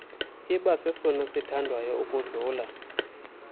ibasesona sithandwayo ukudlula